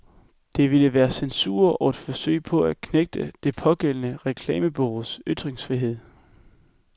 Det ville være censur og et forsøg på at knægte det pågældende reklamebureaus ytringsfrihed.